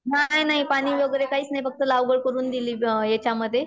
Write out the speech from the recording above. नाही नाही पाणी वगैरे काहीच नाही फक्त लागवड करून दिली याच्यामध्ये.